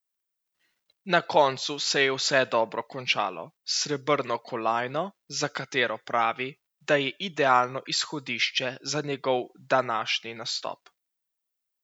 Na koncu se je vse dobro končalo, s srebrno kolajno, za katero pravi, da je idealno izhodišče za njegov današnji nastop.